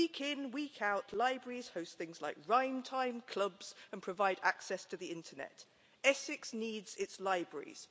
And, week in, week out, libraries host things like Rhyme Time clubs and provide access to the internet. Essex needs its libraries.